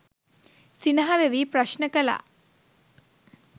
සිනහ වෙවී ප්‍රශ්න කළා.